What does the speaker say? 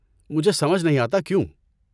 مجھے سمجھ نہیں آتا کیوں؟